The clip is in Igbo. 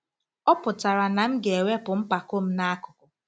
Ọ pụtara na m ga-ewepụ mpako m n'akụkụ.